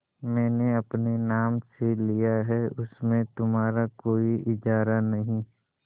मैंने अपने नाम से लिया है उसमें तुम्हारा कोई इजारा नहीं